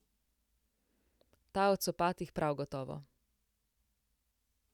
Ta o copatih prav gotovo.